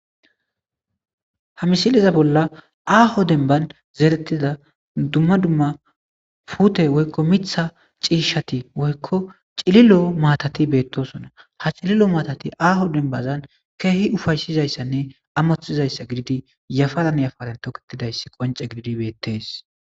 ha misileza bolla aaho demban zerettida dumma dumma pute woykko mitha ciishati woykko cililo maatati beettosona ha cililo maatati aaho dembazan keehi ufaysizayssanne amoththizayssa gididi yafaran yafaren toketidayssi qonce gididi beettees.